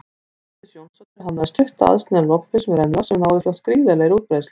Védís Jónsdóttir hannaði stutta aðsniðna lopapeysu með rennilás sem náði fljótt gríðarlegri útbreiðslu.